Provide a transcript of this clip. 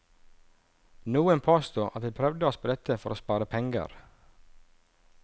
Noen påsto at vi prøvde oss på dette for å spare penger.